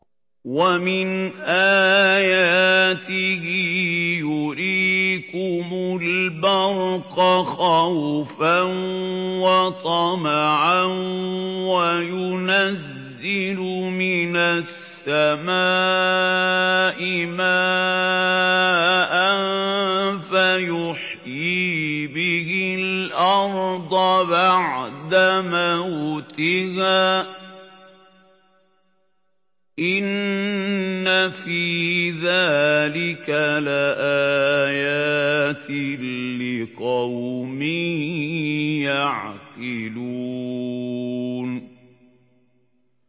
وَمِنْ آيَاتِهِ يُرِيكُمُ الْبَرْقَ خَوْفًا وَطَمَعًا وَيُنَزِّلُ مِنَ السَّمَاءِ مَاءً فَيُحْيِي بِهِ الْأَرْضَ بَعْدَ مَوْتِهَا ۚ إِنَّ فِي ذَٰلِكَ لَآيَاتٍ لِّقَوْمٍ يَعْقِلُونَ